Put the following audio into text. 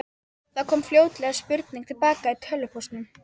Það kom fljótlega spurning til baka í tölvupóstinum.